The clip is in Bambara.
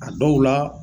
A dɔw la